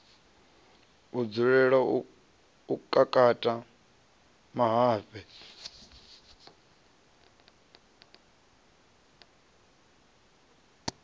a dzulela u kakata mahafhe